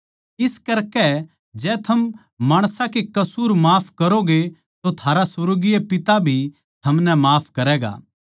इस करकै जै थम माणसां के कसूर माफ करोगे तो थारा सुर्गीय पिता भी थमनै माफ करैगा